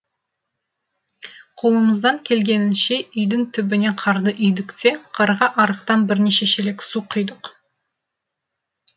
қолымыздан келгенінше үйдің түбіне қарды үйдік те қарға арықтан бірнеше шелек су құйдық